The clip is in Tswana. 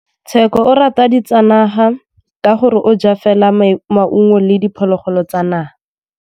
Tshekô o rata ditsanaga ka gore o ja fela maungo le diphologolo tsa naga.